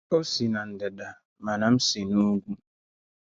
Ó si n’ndị̀dà, màná m sì n’ùgwù.